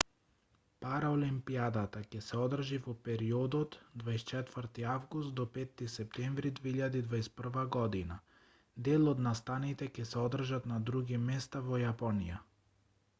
параолимпијадата ќе се одржи во периодот 24 август - 5 септември 2021 година дел од настаните ќе се одржат на други места во јапонија